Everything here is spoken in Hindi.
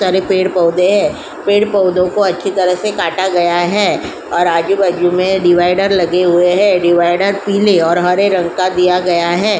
तड़े पेड़ पौधे हैं। पेड़ पौधों को अच्छी तरह से काटा गया है और आजू-बाजू में डिवाइडर लगे हुए हैं और डिवाइडर पीली और हरे रंग का दिया गया है।